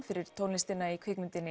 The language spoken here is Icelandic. fyrir tónlistina í kvikmyndina